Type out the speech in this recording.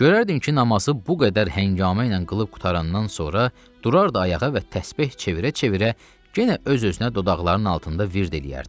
Görərdim ki, namazı bu qədər həngamə ilə qılıb qurtarandan sonra durardı ayağa və təsbeh çevirə-çevirə yenə öz-özünə dodaqlarının altında vird eləyərdi.